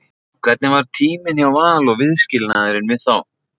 Hvernig var tíminn hjá Val og viðskilnaðurinn við þá?